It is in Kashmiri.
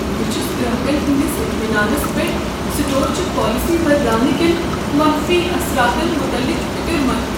بہٕ چُھس گراكن ہندِس اطمیناننس پٮ۪ٹھ سٹور چہِ پالسی بدلاونہٕ کین منفی اثراتن مطلق فکر مند ۔